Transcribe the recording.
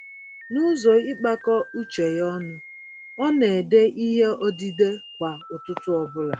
Nụzọ ịkpakọ uche ya ọnụ, ọ n'édè ìhè odide kwá ụtụtụ ọbula.